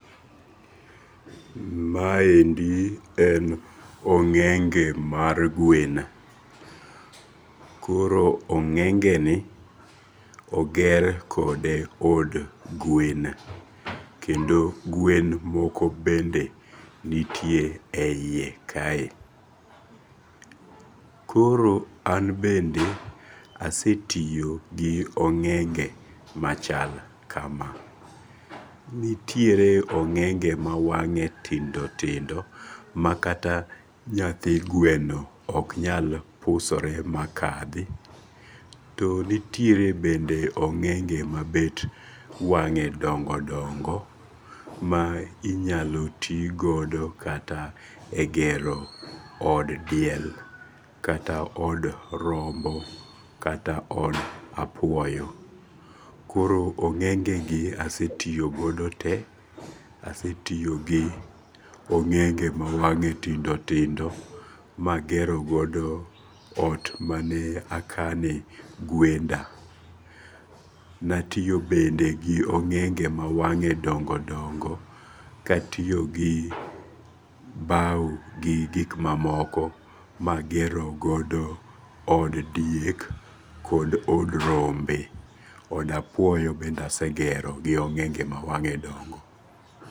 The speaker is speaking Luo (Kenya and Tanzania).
Maendi en onge'ge mar gwen, koro onge'geni oger kod gwen, kendo gwen moko bende nitiere e yie kanye koro an bende asetiyogi onge'ge machal kama, nitiere onge'ge ma wange' tindo tindo ma kata bende nyathi gweno ok nyal pusore makathi, to nitiere onge'ge ma bet wange' dongo dongo, ma inyalo ti godo kata e gero od diel kata od rombo kata od apuoyo, koro ongengegi asetiyogodo te, asetiyo gi onge'ge ma wange' tindo, tindo magero godo ot mane akane gwenda natiyo bende gi onge'ge ma wange' dongo' dongo', katiyogi bau gi gik ma moko magerogodo od diek kod od rembe, od apuoyo be asegeroo gi onge'ge ma wange' dongo.